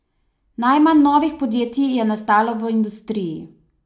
Najmanj novih podjetij je nastalo v industriji.